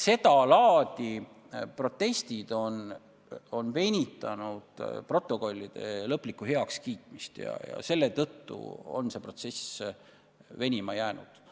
Sedalaadi protestid on venitanud protokollide lõplikku heakskiitmist ja seetõttu ongi protsess venima jäänud.